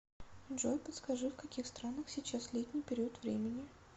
джой подскажи в каких странах сейчас летний период времени